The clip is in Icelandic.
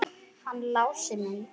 Hann Lási minn!